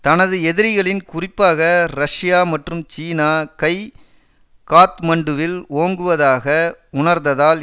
தனது எதிரிகளின் குறிப்பாக ரஷ்யா மற்றும் சீனா கை காத்மண்டுவில் ஓங்குவதாக உணர்ந்ததால்